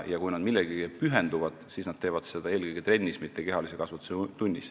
Ja kui nad millelegi pühenduvad, siis nad teevad seda eelkõige trennis, mitte kehalise kasvatuse tunnis.